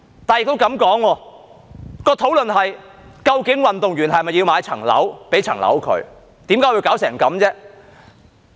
如果這麼說，討論的是究竟運動員是否要買樓，給他一間房屋？